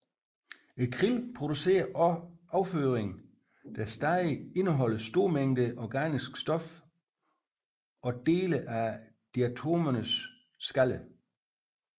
Krillen producerer også afføring der stadig indeholder store mængder organisk stof og dele af diatomeernes skaller